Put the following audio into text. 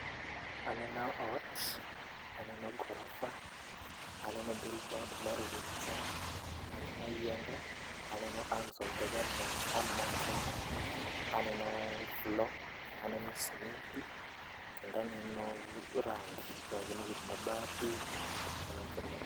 Aneno ot, aneno gorofa, aneno billboard mar Huduma Center, aneno yiende, aneno arms of the government arm mar Kenya, aneno floor, aneno smiti, kendo aneno rangi, rangi mowir, mabati.